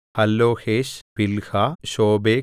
ഹല്ലോഹേശ് പിൽഹാ ശോബേക്